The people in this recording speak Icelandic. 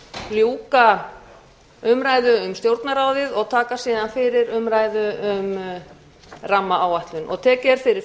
ljúka umræðu um stjórnarráðið og taka síðan fyrir umræðu um rammaáætlun